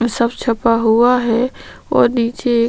सब छपा हुआ है और नीचे--